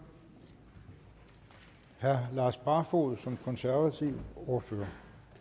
herre lars barfoed som konservativ ordfører